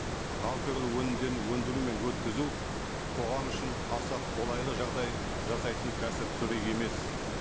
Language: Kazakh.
алкоголь өнімдерін өндіру мен өткізу қоғам үшін аса қолайлы жағдай жасайтын кәсіп түрі емес